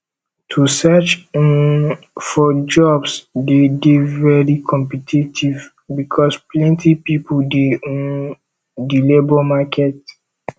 to search um for jobs de dey very competitive because plenty pipo de um di labour market